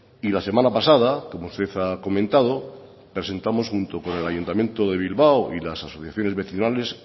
y la semana pasada como usted ha comentado presentamos junto con el ayuntamiento de bilbao y las asociaciones vecinales